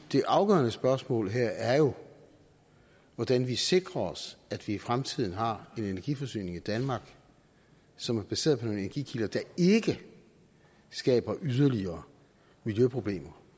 det afgørende spørgsmål her er jo hvordan vi sikrer os at vi i fremtiden har en energiforsyning i danmark som er baseret på nogle energikilder der ikke skaber yderligere miljøproblemer